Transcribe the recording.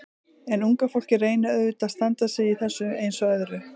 En unga fólkið reynir auðvitað að standa sig í þessu eins og öðru.